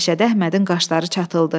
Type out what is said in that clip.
Məşədi Əhmədin qaşları çatıldı.